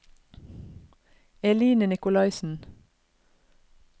Eline Nikolaisen